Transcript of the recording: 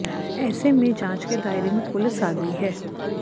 ऐसे में जांच के दायरे में पुलिस आ गई है